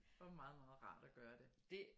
Og meget meget rart at gøre det